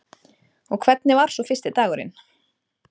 Og hvernig var svo fyrsti dagurinn?